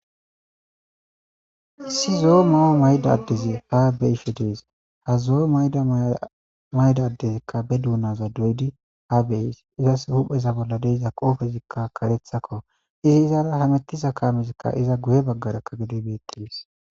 Issi zo'o mayo mayida adezi haa be'ishshe dees.haa zo'o mayida adezikka bee dunazza doyiddi haa be'ees.izasi huphpheza bolla de'iza qoppezzikka kareththa qope .izzi izara hamettiza kamezzikka iza guye bagarakka gede betees.